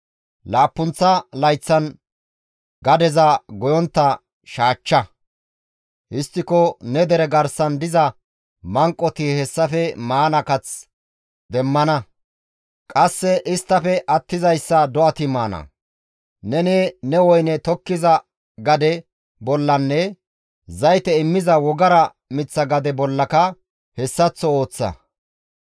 Laappunththa layththan gadeza goyontta shaachcha; histtiko ne dere garsan diza manqoti hessafe maana kath demmana; qasse isttafe attizayssa do7ati maana. Neni ne woyne tokkiza gade bollanne zayte immiza wogara miththa gade bollaka hessaththo ooththa.